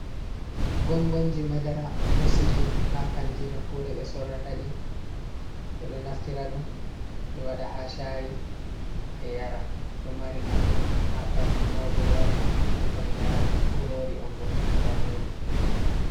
Gongonji madara ɗo sili ha kanti no kure ɓe sorrata ɗii ɓeɗo naftira ɗum ɓe waɗa haa shayi ɓe yara. Ɗo mari nafu haa ɓalli mauɓe yaran ɓikkon yaran, kurori on bo daneri.